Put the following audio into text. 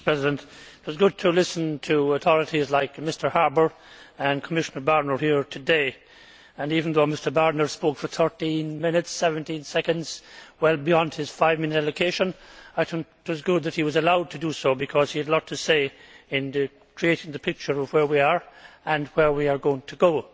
Mr President, it was good to listen to authorities like Mr Harbour and Commissioner Barnier here today, and even though Mr Barnier spoke for 13 minutes and 17 seconds well beyond his five minute allocation it was good that he was allowed to do so, because he had a lot to say in creating the picture of where we are and where we are going to go.